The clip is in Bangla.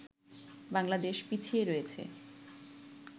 বাংলাদেশ পিছিয়ে রয়েছে